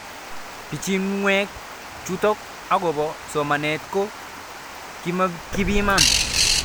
Pichinwek chutok akopo somanet ko kimakipiman